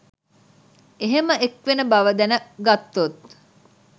එහෙම එක්වෙන බව දැන ගත්තොත්